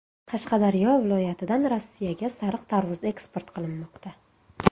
Qashqadaryo viloyatidan Rossiyaga sariq tarvuz eksport qilinmoqda.